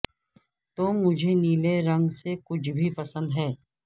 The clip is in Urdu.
تو مجھے نیلے رنگ سے کچھ بھی پسند ہے